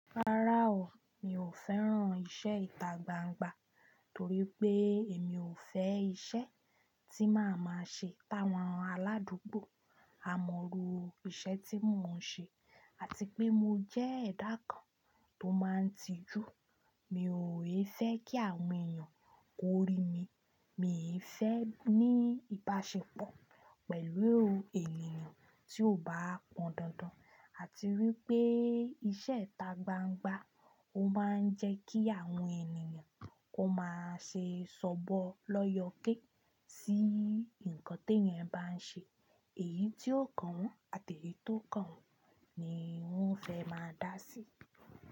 Rárá o, mi ò fẹ́ran iṣẹ́ ìtagbangba torí pé emi ò fẹ́ iṣẹ́ tí màá máa ṣe táwọn aládùúgbò á mọrú iṣẹ́ tí mò ń ṣe àti pé mo jẹ́ ẹ̀dà kan tó máa ń tijú. Mi ò i fẹ́ kí àwọn èèyàn kó rí mi, mi i fẹ́ ní ìbáṣepọ̀ pẹ̀lú ènìyàn tí ò bá pọn dandan àti wípé iṣẹ́ ìta gbangba ó máa ń jẹ kí àwọn ènìyàn kó máa ṣe sọ̀bọ l'ọyọké sí nǹkan t'ẹ́eyan bá ń ṣe, èyí tí ó kàn wọ́n àti èyí tí ó kàn wọ́n ni wọ́n fẹ́ máa dá sí.